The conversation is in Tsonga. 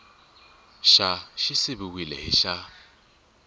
xa xi siviwile hi xa